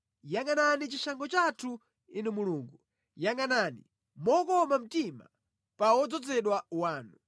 Yangʼanani chishango chathu, Inu Mulungu; yangʼanani mokoma mtima pa wodzozedwa wanu.